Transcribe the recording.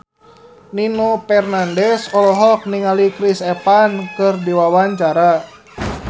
Nino Fernandez olohok ningali Chris Evans keur diwawancara